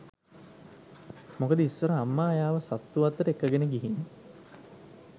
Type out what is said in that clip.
මොකද ඉස්සර අම්මා එයාව සත්තු වත්තට එක්කගෙන ගිහින්